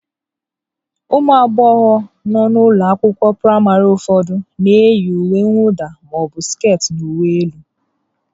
Ụmụ agbọghọ nọ n'ụlọ akwụkwọ praịmarị ụfọdụ na-eyi uwe mwụda ma ọ bụ skit na uwe elu